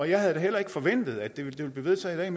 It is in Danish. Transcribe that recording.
jeg havde da heller ikke forventet at det ville blive vedtaget i